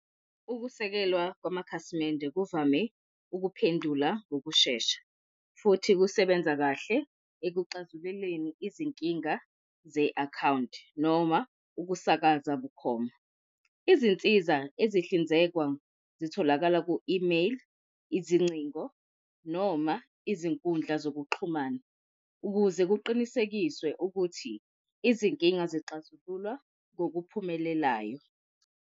Ukusekelwa kwamakhasimende kuvame ukuphendula ngokushesha, futhi kusebenza kahle ekuxazululeni izinkinga ze-akhawunti noma ukusakaza bukhoma. Izinsiza ezihlinzekwa zitholakala ku-imeyili, izincingo noma izinkundla zokuxhumana ukuze kuqinisekiswe ukuthi izinkinga izixazululwa ngokuphumelelayo.